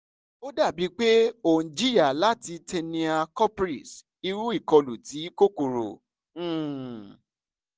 ó dàbí pé ò ń jìyà láti tinea corporis irú ìkọlù ti kòkòrò um